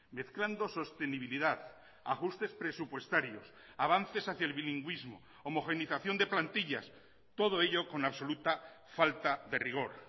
mezclando sostenibilidad ajustes presupuestarios avances hacia el bilingüismo homogeneización de plantillas todo ello con absoluta falta de rigor